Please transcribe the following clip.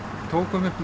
tókum